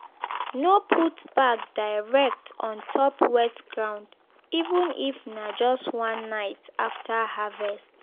no put bag direct on top wet ground even if na just one night after harvest.